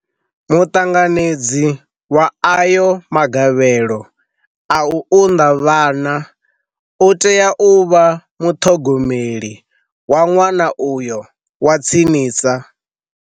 Muṱanganedzi wa ayo magavhelo a u unḓa vhana u tea u vha muṱhogomeli wa ṅwana uyo wa tsinisa.